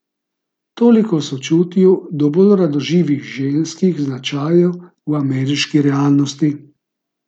Toliko o sočutju do bolj radoživih ženskih značajev v ameriški realnosti.